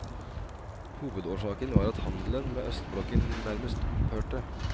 Hovedårsaken var at handelen med østblokken nærmest opphørte.